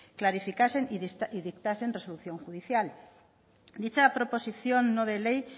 clarificasen y dictasen resolución judicial dicha proposición no de ley